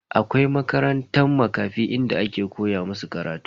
Akwai makarantan Makafi inda ake koya musu karatu.